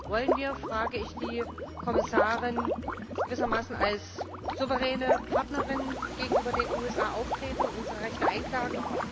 Wollen wir frage ich die Kommissarin gewissermaßen als souveräne Partnerin gegenüber den USA auftreten und unsere Rechte einklagen?